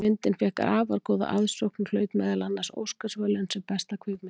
Myndin fékk afar góða aðsókn og hlaut meðal annars Óskarsverðlaun sem besta kvikmyndin.